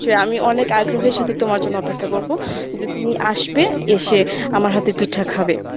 আমি অনেক আগ্রহের সাথে তোমার জন্য অপেক্ষা করবো, যে তুমি আসবে এসে আমার হাতের পিঠা খাবে